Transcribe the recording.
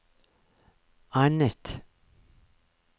annet